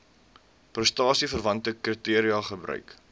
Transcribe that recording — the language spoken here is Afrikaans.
prestasieverwante kriteria gebruik